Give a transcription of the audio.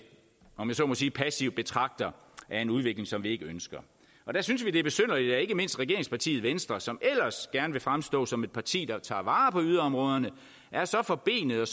om jeg så må sige passive betragtere af en udvikling som vi ikke ønsker der synes vi det er besynderligt at ikke mindst regeringspartiet venstre som ellers gerne vil fremstå som et parti der tager vare på yderområderne er så forbenede